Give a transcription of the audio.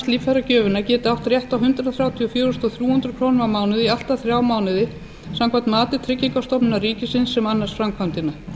líffæragjöfina geti átt rétt á hundrað þrjátíu og fjögur þúsund þrjú hundruð krónur á mánuði í allt að þrjá mánuði samkvæmt mati tryggingastofnunar ríkisins sem annast framkvæmdina